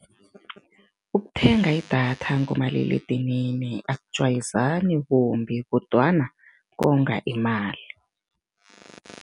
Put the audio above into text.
Ukuthenga idatha ngomaliledinini akujwayezani kumbi kodwana konga imali.